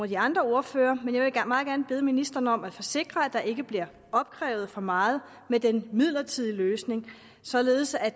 de andre ordførere bede ministeren om at forsikre at der ikke bliver opkrævet for meget med den midlertidige løsning således at